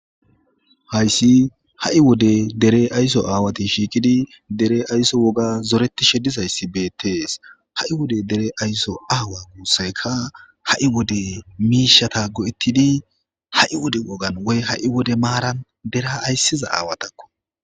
Haysi hai' wode dere ayso awati issi bolla shiqidi dere ayso woga zoretishe dizaysi betes hai' wode dere ayso wode gusaykka hai' wode mishata goe'ti hai' wode maran dera aysida asatako